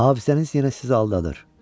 Hafizəniz hələ zəif aldadır.